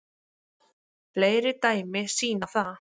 Fleiri dæmi sýna það